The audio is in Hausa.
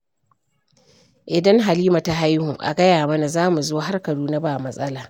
Idan Halima ta haihu a gaya mana, za mu zo har Kaduna ba matsala